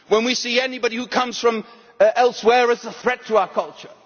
when we see anybody who comes from elsewhere as a threat to our culture